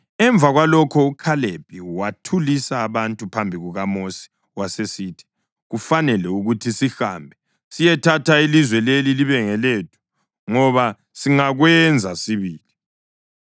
Emva kwalokho uKhalebi wathulisa abantu phambi kukaMosi wasesithi, “Kufanele ukuthi sihambe siyethatha ilizwe leli libe ngelethu, ngoba singakwenza sibili.”